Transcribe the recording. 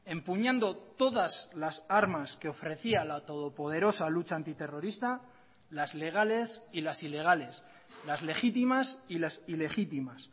empuñando todas las armas que ofrecía la todopoderosa lucha antiterrorista las legales y las ilegales las legítimas y las ilegítimas